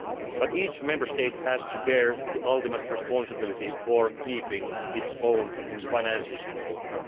is needed. But each Member State has to bear the ultimate responsibility for keeping its own finances